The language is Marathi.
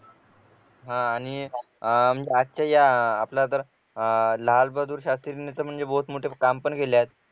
हा आणि अह म्हणजे आजच्या या आपल्या आपला तर लालबहादूर शास्त्री ने बहुत मोठे काम पण केले आहे